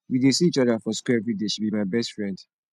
we dey see each other for shool everyday she be my best friend